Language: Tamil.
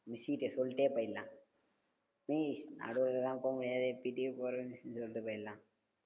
miss கிட்ட சொல்லிட்டே போயிடலா miss நடுவுலலாம் போ முடியாது PT க்கே போறோம் miss னு சொல்லிட்டு போயிடலாம்